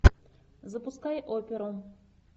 запускай оперу